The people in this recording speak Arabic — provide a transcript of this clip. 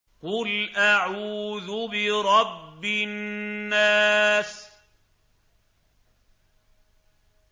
قُلْ أَعُوذُ بِرَبِّ النَّاسِ